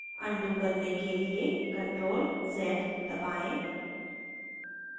undo करने के लिए ctrl + z दबाएं